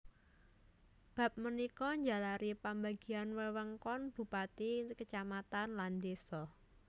Bab punika njalari pambagian wewengkon kabupatèn kacamatan lan désa